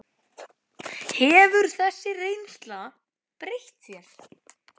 Hefur þessi reynsla breytt þér?